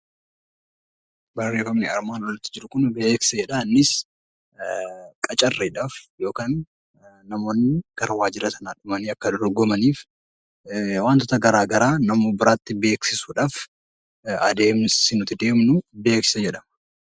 Beeksisni qacarriidhaaf namoonni gara waajjira Sanaa deemanii Akka dorgomaniif wantoota garaagaraa namoota biratti beeksisuudhaaf adeemsi nuti deemnu beeksisa jedhama